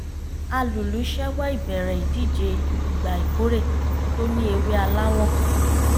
alùlù ṣẹ́wọ́ ìbẹ̀rẹ̀ ìdìje ìgbà ìkórè tó ní ewé aláwọ̀